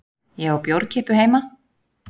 Ég á bjórkippu heima.